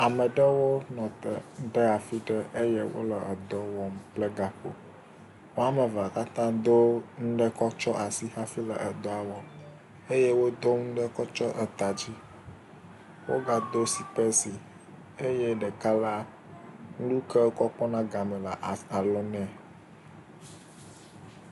Ame ɖewo nɔ te ɖe afi yi ke wonɔ dɔ aɖe wɔm kple gakpo. Woame eve la katã do nane kɔ tsyɔ̃ asi hafi wole edɔa wɔm eye wodo nu ɖe kɔ tsyɔ̃ ata dzi wogado sipesi eye ɖeka la, nu yi ke wokɔ kpɔna game le alɔ nɛ.